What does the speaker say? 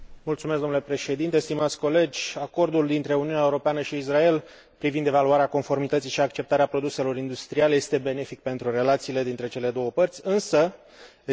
Acordul dintre Uniunea Europeană și Israel privind evaluarea conformității și acceptarea produselor industriale este benefic pentru relațiile dintre cele două părți, însă ridică două probleme de ordin juridic.